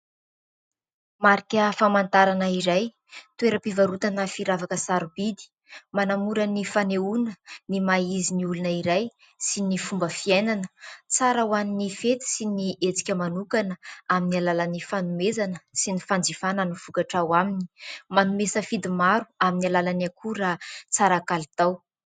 Marika famantarana iray toeram-pivarotana firavaka sarobidy. Manamora ny fanehoana ny maha izy ny olona iray sy ny fomba fiainana. Tsara ho an'ny fety sy ny hetsika manokana amin'ny alalan'ny fanomezana sy ny fanjifana ny vokatra ao aminy. Manome safidy maro amin'ny alalan'ny akora raha tsara kalitao.